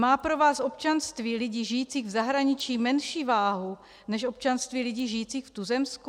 Má pro vás občanství lidí žijících v zahraničí menší váhu než občanství lidí žijících v tuzemsku?